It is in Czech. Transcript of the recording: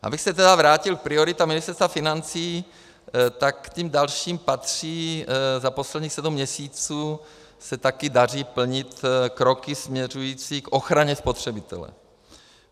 Abych se tedy vrátil k prioritám Ministerstva financí, tak k těm dalším patří - za posledních sedm měsíců se taky daří plnit kroky směřující k ochraně spotřebitele.